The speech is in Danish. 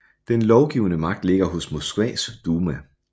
Den lovgivende magt ligger hos Moskvas duma